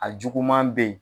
A juguman bɛ yen